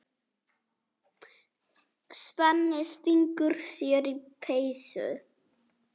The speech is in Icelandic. Svenni stingur sér í peysu.